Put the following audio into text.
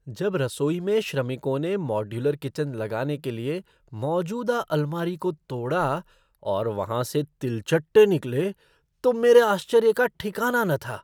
जब रसोई में श्रमिकों ने मॉड्यूलर किचन लगाने के लिए मौजूदा अलमारी को तोड़ा और वहाँ से तिलचट्टे निकले तो मेरे आश्चर्य का ठिकना न था।